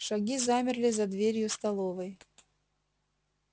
шаги замерли за дверью столовой